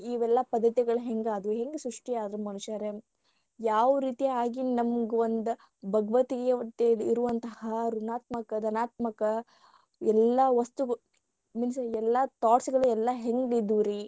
ಇವೆಲ್ಲಾ ಪದ್ಧತಿಗಳ ಹೆಂಗಾದವು ಹೆಂಗ ಸೃಷ್ಟಿ ಆದ್ವು ಮನುಷಾರೆ ಯಾವರೀತಿ ಆಗಿ ನಮಗೊಂದು ಭಗವದ್ಗೀತೆ ಇರುವಂತಹ ಋಣಾತ್ಮಕ ಧನಾತ್ಮಕ ಎಲ್ಲಾ ವಸ್ತು means ಎಲ್ಲಾ thoughts ಗಳು ಎಲ್ಲಾ ಹೆಂಗಿದ್ವ ರೀ